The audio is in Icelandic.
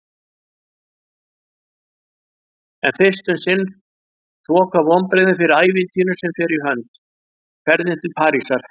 En fyrst um sinn þoka vonbrigðin fyrir ævintýrinu sem fer í hönd: ferðinni til Parísar.